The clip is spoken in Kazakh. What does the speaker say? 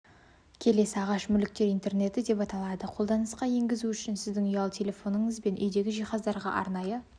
келесі ағаш мүліктер интернеті деп аталады қолданысқа енгізу үшін сіздің ұялы телефоныңыз бен үйдегі жиһаздарға арнайы